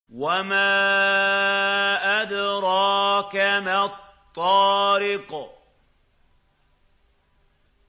وَمَا أَدْرَاكَ مَا الطَّارِقُ